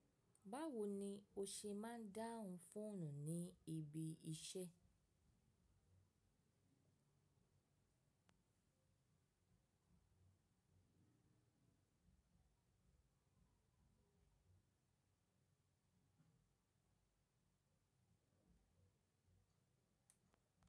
Báwo ni o ṣe máa ń dáhùn fóònù ní ibi iṣẹ́?